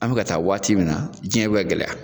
An bɛ ka taa waati min na diɲɛ bɛ ka gɛlɛya.